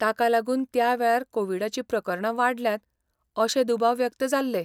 ताका लागून त्या वेळार कोविडाची प्रकरणां वाडल्यांत अशे दुबाव व्यक्त जाल्ले .